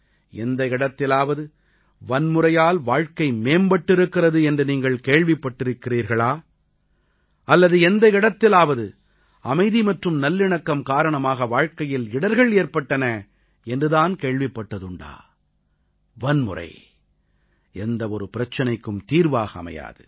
எந்த இடத்திலாவது வன்முறையால் வாழ்க்கை மேம்பட்டிருக்கிறது என்று நீங்கள் கேள்விப்பட்டிருக்கிறீர்களா அல்லது எந்த இடத்திலாவது அமைதி மற்றும் நல்லிணக்கம் காரணமாக வாழ்க்கையில் இடர்கள் ஏற்பட்டன என்று தான் கேள்விப்பட்டதுண்டா வன்முறை எந்த ஒரு பிரச்சனைக்கும் தீர்வாக அமையாது